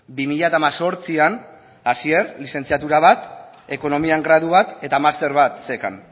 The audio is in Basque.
bi mila hemezortzian asier lizentziatura bat ekonomian gradu bat eta master bat zeukan